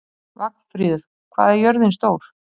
Vagnfríður, hvað er jörðin stór?